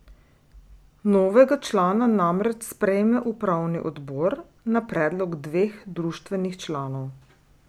Novega člana namreč sprejme upravni odbor na predlog dveh društvenih članov.